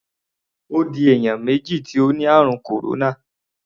Ó di èèyàn méjì tí ó ni ààrùn kòróná.